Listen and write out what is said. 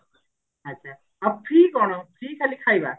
ଆଛା ଆଉ free କଣ free ଖାଲି ଖାଇବା